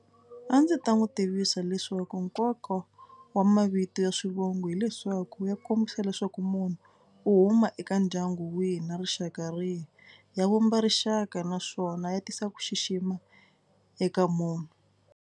A ndzi ta n'wi tivisa leswaku nkoka wa mavito ya swivongo hileswaku ya kombisa leswaku munhu u huma eka ndyangu wihi na rixaka rihi. Ya vumba rixaka naswona ya tisa ku xixima eka munhu.